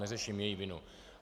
Neřeším její vinu.